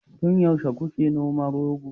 tun yaushe kuke noman rogo